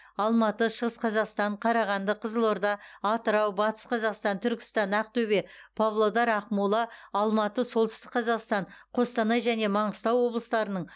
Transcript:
алматы шығыс қазақстан қарағанды қызылорда атырау батыс қазақстан түркістан ақтөбе павлодар ақмола алматы солтүстік қазақстан қостанай және маңғыстау облыстарының